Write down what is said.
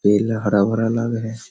पेड़ में हरा-भरा लग रहा है।